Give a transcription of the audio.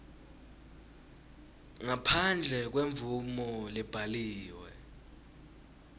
ngaphandle kwemvumo lebhaliwe